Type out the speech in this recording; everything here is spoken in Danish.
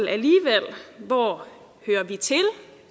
hvor hører vi til